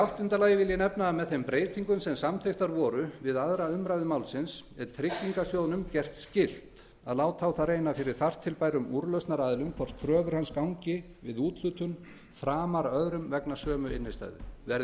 áttunda með þeim breytingum sem samþykktar voru við aðra umræðu málsins er tryggingarsjóðnum gert skylt að láta á það reyna fyrir þar til bærum úrlausnaraðilum hvort kröfur hans gangi við úthlutun framar öðrum vegna sömu innstæðu verði